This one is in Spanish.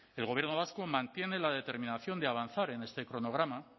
el gobierno vasco mantiene la determinación de avanzar en este cronograma